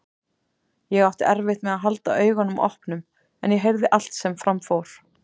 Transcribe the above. Ég átti erfitt með að halda augunum opnum en ég heyrði allt sem fram fór.